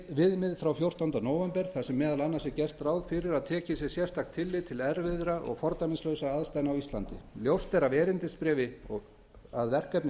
viðmið frá fjórtánda nóvember þar sem meðal annars er gert ráð fyrir að tekið sé sérstakt tillit til erfiðra og fordæmislausra aðstæðna á íslandi ljóst er af erindisbréfi að verkefni